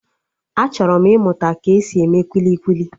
Achọrọ m ịmụta ka-esi eme kwili kwili